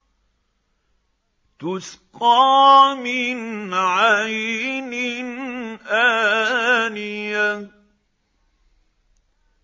تُسْقَىٰ مِنْ عَيْنٍ آنِيَةٍ